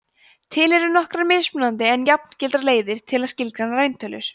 til eru nokkrar mismunandi en jafngildar leiðir til að skilgreina rauntölurnar